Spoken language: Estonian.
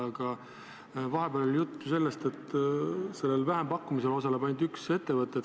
Aga vahepeal oli juttu sellest, et sellel vähempakkumisel osaleb ainult üks ettevõte.